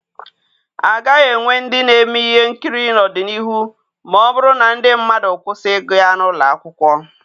A gaghị enwe ndị na-eme ihe nkiri n'ọdịnihu ma ọ bụrụ na ndị mmadụ kwụsị ịgụ ya n'ụlọ akwụkwọ.